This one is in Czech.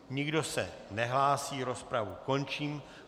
Nikdo se nehlásí, rozpravu končím.